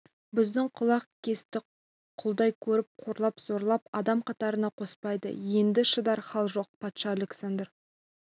бізді құлақ кесті құлдай көріп қорлап зорлап адам қатарына қоспайды енді шыдар хал жоқ патша александр